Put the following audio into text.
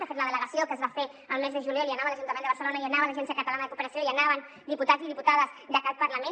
de fet la delegació que es va fer el mes de juliol hi anava l’ajuntament de barcelona hi anava l’agència catalana de cooperació hi anaven diputats i diputades d’aquest parlament